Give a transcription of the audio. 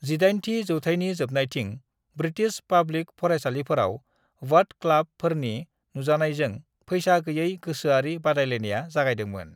18 थि जौथायनि जोबनायथिं ब्रिटिश पाब्लिक फरायसालिफोराव 'बट क्लाब' फोरनि नुजानायजों फैसा गैयै गोसोआरि बादायलायानाया जागायदोंमोन।